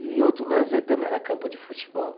E outro lazer também era campo de futebol.